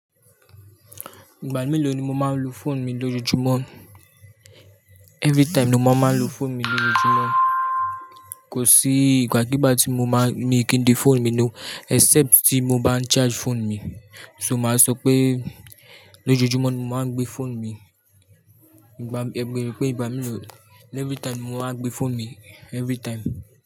Ìgbà mélòó ni mo máa ń lo phone mi lójoojúmọ́? Every time ni mo máa ń lo phone mi lójoojúmọ́. Kò sí ìgbà kìí gbà tí mo máa mí kín di phone mi lọ except tí mo bá ń charge phone mi. So màá sọ pé lójoojúmọ́ ni mo máa ń gbé phone mi. Ìgbà, ẹ gbe wípé ìgbà mélòó, every time mo máa ń gbé phone mi every time.